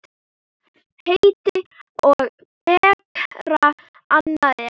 Heiti á bekra annað er.